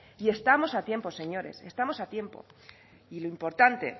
y estamos a tiempo señores estamos a tiempo y lo importante